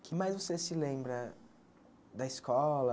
Que mais você se lembra da escola?